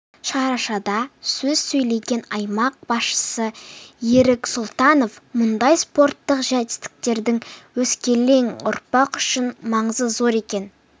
шарашада сөз сөйлеген аймақ басшысы ерік сұлтанов мұндай спорттық жетістіктердің өскелең ұрпақ үшін маңызы зор екен